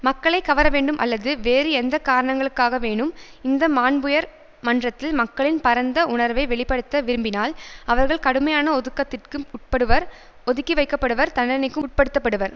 மக்களை கவரவேண்டும் அல்லது வேறு எந்த காரணங்களுக்காகவேனும் இந்த மாண்புயர் மன்றத்தில் மக்களின் பரந்த உணர்வை வெளி படுத்த விரும்பினால் அவர்கள் கடுமையான ஒதுக்கத்திற்கு உட்படுவர் ஒதுக்கிவைக்கப்படுவர் தண்னனைக்கும் உட்படுத்தப்படுவர்